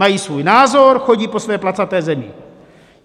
Mají svůj názor, chodí po své placaté Zemi.